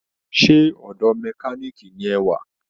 Sé ọdọ̀ mẹkáníìkì ni ẹ wà